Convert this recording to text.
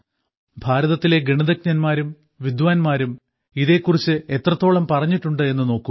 ഭാരതത്തിലെ ഗണിതജ്ഞന്മാരും വിദ്വാന്മാരും എത്രത്തോളം പറഞ്ഞിട്ടുണ്ട് എന്നു നോക്കൂ